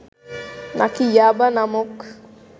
নাকি 'ইয়াবা' নামক